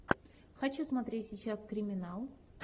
хочу смотреть сейчас криминал